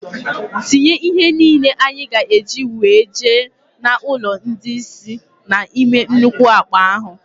Tinye ihe niile anyị ga-eji wee jee n' ụlọ ndị isi na-ime nnukwu akpa ahụ!!!